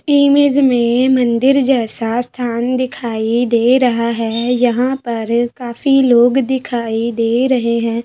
Image में मंदिर जैसा स्थान दिखाई दे रहा है यहाँ पर काफी लोग दिखाई दे रहे है।